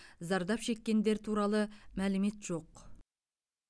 зардап шеккендер туралы мәлімет жоқ